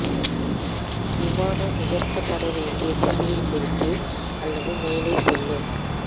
விமானம் உயர்த்தப்பட வேண்டிய திசையைப் பொறுத்து அல்லது மேலே செல்லும்